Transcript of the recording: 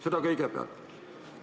Seda kõigepealt.